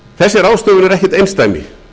þessi aðgerð er ekkert einsdæmi